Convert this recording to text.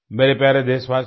मेरे प्यारे देशवासियों